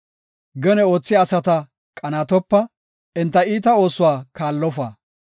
Gene oothiya asata qanaatopa; enta iita oosuwa kaallofa.